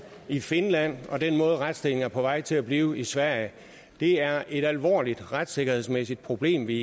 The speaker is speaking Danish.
i finland og på den måde retsstillingen er på vej til at blive i sverige det er et alvorligt retssikkerhedsmæssigt problem vi